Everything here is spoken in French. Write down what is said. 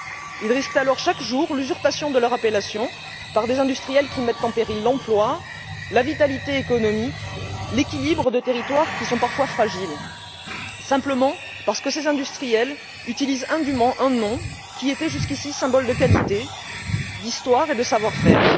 Ils risquent alors, chaque jour, l'usurpation de leur appellation par des industriels qui mettent en péril l'emploi, la vitalité économique, l'équilibre de territoires qui sont parfois fragiles, simplement parce que ces industriels utilisent indument un nom qui était jusqu'ici symbole de qualité, d'histoire et de savoir-faire.